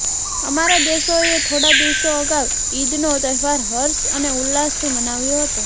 અમારા દેશોએ થોડા દિવસો અગાઉ ઇદનો તહેવાર હર્ષ અને ઉલ્લાસથી મનાવ્યો હતો